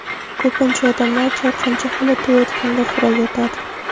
Ko‘pincha odamlar chalqancha holatda yotganda xurrak otadi.